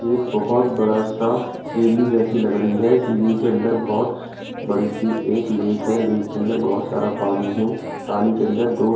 एक बहुत बड़ा सा सीरनी जैसी लग रही है सीरनी के अंदर बहुत बड़ी सी एक लेक है लेक के अंदर बहुत सारा पानी है पानी के अंदर तो।